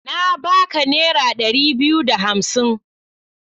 Na baka naira dari biyu da hamsin.